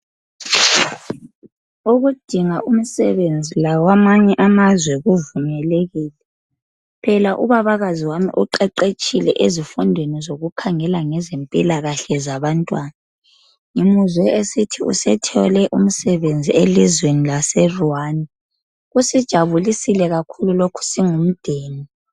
Ukudinga umsebenzi lakwamanye amazwe kuvumelekile. Phela ubabakazi wami uqeqetshile ezifundweni zokukhangela mgezabantwana. Ngimuzwe esithi sethole umsebenzi elizweni laseRwanda. Kusijabulisile lokhu njengomdeni